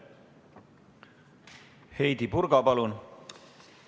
Heidy Purga, palun!